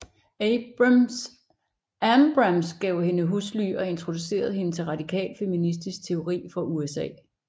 Ambrams gav hende husly og introducerede hende til radikal feministisk teori fra USA